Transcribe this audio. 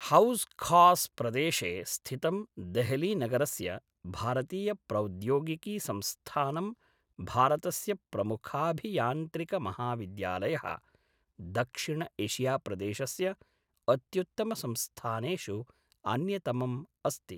House Khas प्रदेशे स्थितं देहलीनगरस्य भारतीयप्रौद्योगिकीसंस्थानं भारतस्य प्रमुखाभियान्त्रिकमहाविद्यालयः, दक्षिण एशियाप्रदेशस्य अत्युत्तमसंस्थानेषु अन्यतमम् अस्ति।